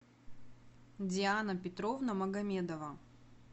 диана петровна магомедова